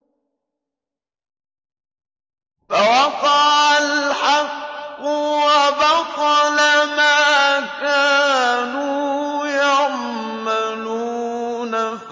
فَوَقَعَ الْحَقُّ وَبَطَلَ مَا كَانُوا يَعْمَلُونَ